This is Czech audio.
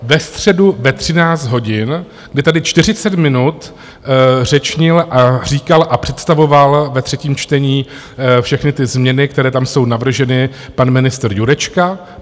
Ve středu ve 13 hodin, kdy tady 40 minut řečnil a říkal a představoval ve třetím čtení všechny ty změny, které tam jsou navrženy, pan ministr Jurečka.